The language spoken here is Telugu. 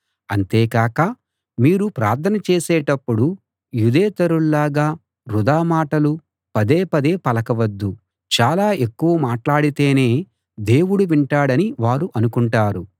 అంతే కాక మీరు ప్రార్థన చేసేటప్పుడు యూదేతరుల్లాగా వృథా మాటలు పదే పదే పలక వద్దు చాలా ఎక్కువ మాట్లాడితేనే దేవుడు వింటాడని వారు అనుకుంటారు